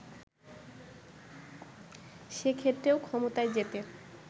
সে ক্ষেত্রেও ক্ষমতায় যেতে